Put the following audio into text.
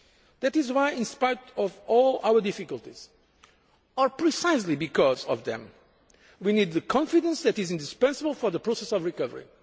That is why, in spite of all our difficulties, or precisely because of them, we need the confidence that is indispensable for the process of recovery.